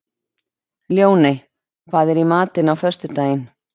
Ljóney, hvað er í matinn á föstudaginn?